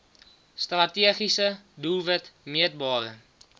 strategiese doelwit meetbare